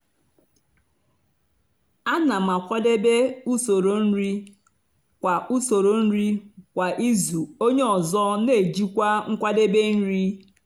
onye ọ bụla nwere ike ikwu ọlụ ọ ga ọ ga amasị ya ịrụ kwa izu.